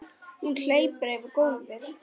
Hún hleypur yfir gólfið.